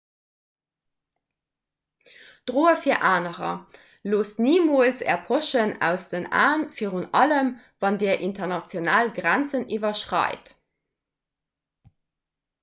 droe fir anerer loosst nimools är poschen aus den aen virun allem wann dir international grenzen iwwerschreit